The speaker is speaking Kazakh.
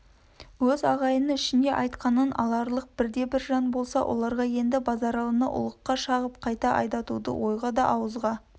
өз ағайыны ішінде айтқанын аларлық бірде-бір жан болса оларға енді базаралыны ұлыққа шағып қайта айдатуды ойға да ауызға